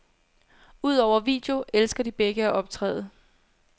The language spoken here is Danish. Udover video elsker de begge at optræde.